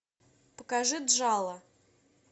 покажи джала